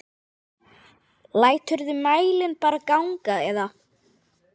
Læturðu mælinn bara ganga eða?